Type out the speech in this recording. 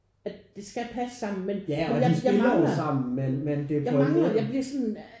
At det skal passe sammen men men jeg mangler jeg mangler jeg bliver sådan